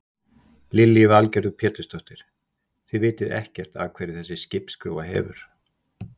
Lillý Valgerður Pétursdóttir: Þið vitið ekkert af hverju þessi skipsskrúfa hefur?